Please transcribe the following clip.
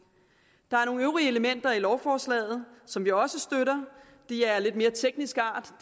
der er nogle øvrige elementer i lovforslaget som vi også støtter de er af lidt mere teknisk art